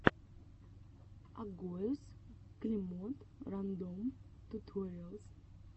агоез клемод рандом туториалс